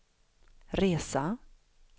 resa